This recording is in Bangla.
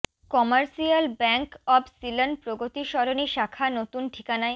commercial bank of Ceylon Pragati Sarani শাখা নতুন ঠিকানায়